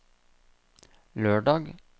lørdag